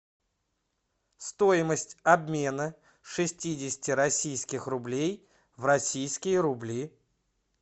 стоимость обмена шестидесяти российских рублей в российские рубли